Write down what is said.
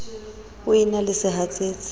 o e na le sehatsetsi